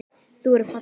Þú verður falleg.